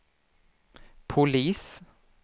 polis